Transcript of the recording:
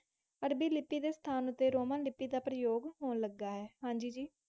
ਅਰਬੀ ਲਿਪੀ ਦੇ ਸਥਾਨ ਉੱਤੇ ਰੋਮਨ ਲਿਪੀ ਦਾ ਪ੍ਰਯੋਗ ਹੋਣ ਲੱਗਾ ਹੈ। ਹਾਂਜੀ ਜੀ